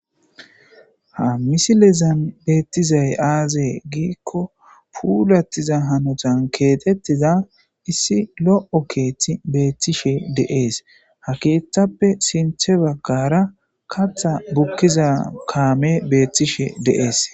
ha misilezan beettizay aazee giikko puulattiza hanotan keetettiza issi lo7o keethti beettishe de7ees ha keeththappe sinthe baggara katha bukkiza kaame beettishe deees